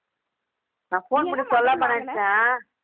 நான் phone பண்ணி சொல்லலாம்னு தான் நினைச்சேன்